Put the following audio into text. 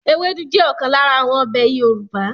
Ewédú jẹ́ ọ̀kan lára àwọn ọbẹ̀ Yorùbá